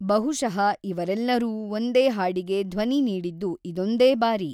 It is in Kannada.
ಬಹುಶಃ ಇವರೆಲ್ಲರೂ ಒಂದೇ ಹಾಡಿಗೆ ಧ್ವನಿ ನೀಡಿದ್ದು ಇದೊಂದೇ ಬಾರಿ.